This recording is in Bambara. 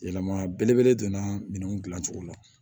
Yɛlɛma belebele donna minɛnw dilancogo la